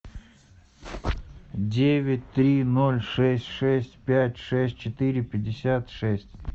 девять три ноль шесть шесть пять шесть четыре пятьдесят шесть